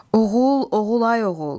Oğul, oğul ay oğul.